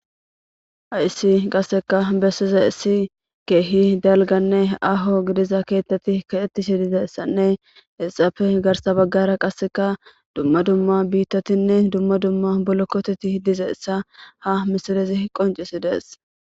Hayssi qasseka bessiza issi keehi dalganne aho gidiza keettati kaettishi dizeessanne ilxafe garsa baggara qasseka dumma dumma biittatinne dumma dumma bolokkoteti dizeessa ha misilezi qoncisi dees.